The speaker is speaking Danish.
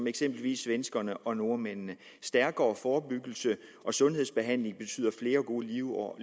eksempel svenskerne og nordmændene stærkere forebyggelse og sundhedsbehandling betyder flere gode leveår